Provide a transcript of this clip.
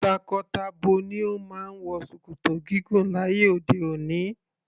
Tako-tabo ni o máa ń wọ ṣòkòtò gígùn láyé òde òni.